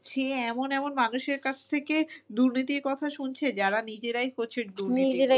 সে এমন এমন মানুষের কাছ থেকে দুর্নীতির কথা শুনছে যারা নিজেরাই প্রচুর দুর্নীতি।